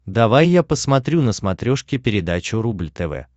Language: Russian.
давай я посмотрю на смотрешке передачу рубль тв